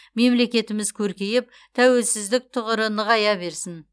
мемлекетіміз көркейіп тәуелсіздік тұғыры нығая берсін